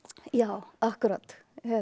já akkúrat